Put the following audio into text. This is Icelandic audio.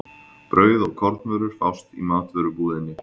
Brauð og kornvörur fást í matvörubúðinni.